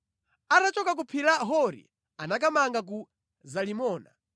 Atachoka ku phiri la Hori anakamanga ku Zalimoni.